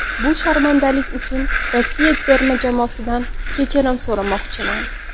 Bu sharmandalik uchun Rossiya terma jamoasidan kechirim so‘ramoqchiman.